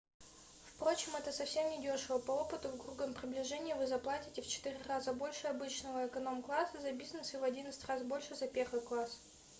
впрочем это совсем недешево по опыту в грубом приближении вы заплатите в четыре раза больше обычного эконом-класса за бизнес и в одиннадцать раз больше за первый класс